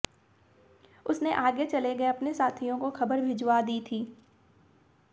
उसने आगे चले गए अपने साथियों को खबर भिजवा दी थी